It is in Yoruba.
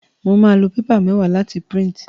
Mo máa lo paper méwáà láti print